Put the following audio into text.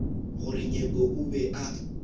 gore nyepo o be a